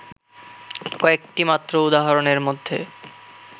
কয়েকটি মাত্র উদাহরণের মধ্যে